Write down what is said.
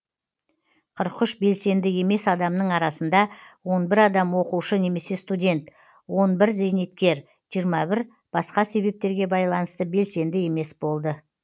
қырық үш белсенді емес адамның арасында он бір адам оқушы немесе студент он бір зейнеткер жиырма бір басқа себептерге байланысты белсенді емес болды